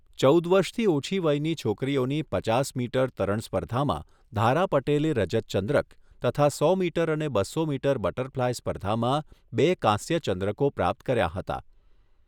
ચૌદ વર્ષથી ઓછી વયની છોકરીઓની પચાસ મીટર તરણ સ્પર્ધામાં ધારા પટેલે રજત ચંદ્રક તથા સો મીટર અને બસો મીટર બટરફલાઈ સ્પર્ધામાં બે કાંસ્ય ચંદ્રકો પ્રાપ્ત કર્યા હતા.